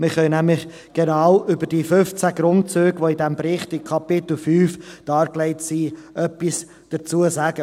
Wir können nämlich genau zu den in Kapitel 5 dargelegten 15 Grundsätzen dieses Berichts etwas sagen.